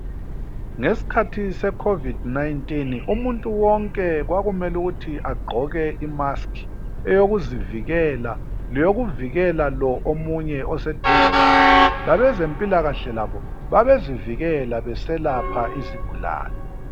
Ngesikhathi se COVID 19, umuntu wonke kwakumelukuthi agqoke imask. Eyokuzivikela ,leyokuvikela lo omunye oseduze laye, labezempilakahle labo babezivikela beselapha isigulane.